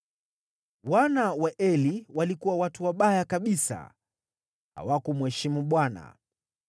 Wana wa Eli walikuwa watu wabaya kabisa, hawakumheshimu Bwana .